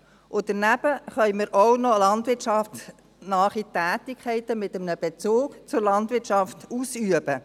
Daneben können wir auch noch landwirtschaftsnahe Tätigkeiten mit einem Bezug zur Landwirtschaft ausüben.